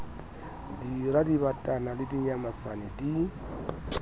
dira dibatana le dinyamatsane di